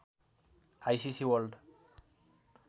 ICC world